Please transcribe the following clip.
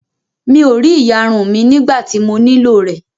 Mi ò rí ìyarun mí nígbà tí mo nílò rẹ̀